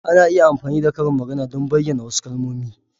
Ana iya amfani da karin magana don bayyana wasu kalmomi.